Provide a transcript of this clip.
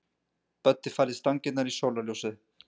Böddi færði stangirnar í sólarljósið.